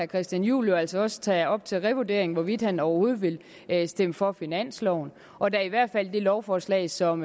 christian juhl altså også tage op til revurdering hvorvidt han overhovedet vil vil stemme for finansloven og da i hvert fald det lovforslag som